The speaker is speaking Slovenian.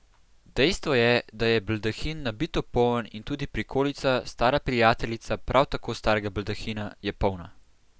Dejstvo je, da je baldahin nabito poln in tudi prikolica, stara prijateljica prav tako starega baldahina, je polna.